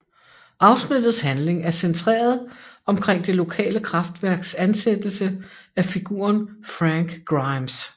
Afsnittets handling er centreret omkring det lokale kraftværks ansættelse af figuren Frank Grimes